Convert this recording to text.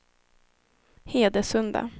Hedesunda